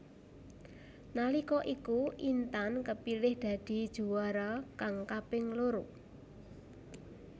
Nalika iku Intan kepilih dadi juwara kang kaping loro